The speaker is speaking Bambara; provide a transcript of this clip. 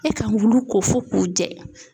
E kan k'ulu ko fo k'u jɛ.